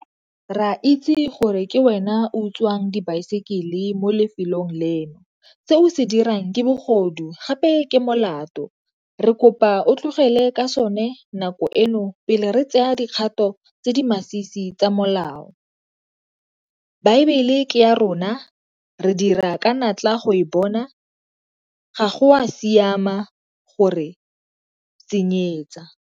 Re a itse gore ke wena o utswang dibaesekele mo lefelong leno. Se o se dirang ke bogodu gape ke molato. Re kopa o tlogele ka sone nako eno pele re tseya di kgato tse di masisi tsa molao. Baebele ke ya rona, re dira ka natla go e bona, ga go a siama go re senyetsa.